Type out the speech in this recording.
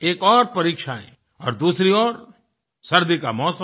एक ओर परीक्षाएँ और दूसरी ओर सर्दी का मौसम